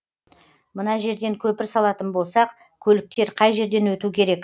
мына жерден көпір салатын болсақ көліктер қай жерден өту керек